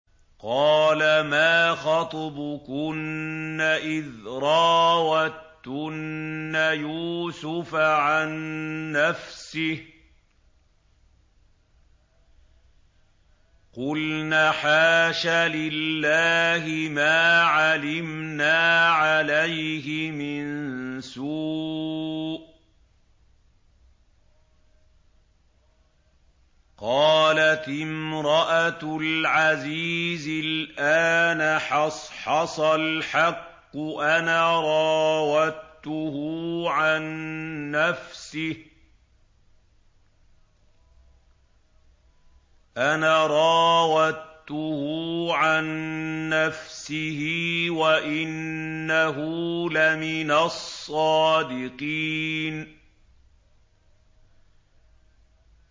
قَالَ مَا خَطْبُكُنَّ إِذْ رَاوَدتُّنَّ يُوسُفَ عَن نَّفْسِهِ ۚ قُلْنَ حَاشَ لِلَّهِ مَا عَلِمْنَا عَلَيْهِ مِن سُوءٍ ۚ قَالَتِ امْرَأَتُ الْعَزِيزِ الْآنَ حَصْحَصَ الْحَقُّ أَنَا رَاوَدتُّهُ عَن نَّفْسِهِ وَإِنَّهُ لَمِنَ الصَّادِقِينَ